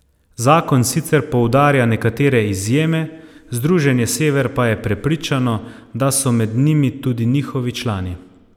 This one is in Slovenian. Zakon sicer poudarja nekatere izjeme, Združenje Sever pa je prepričano, da so med njimi tudi njihovi člani.